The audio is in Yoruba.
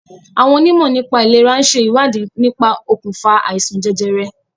Àwọn onímọ̀ nípà ìlèra ń ṣe ìwádìí nípa okùnfà àìsàn jẹjẹrẹ.